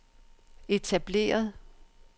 etableret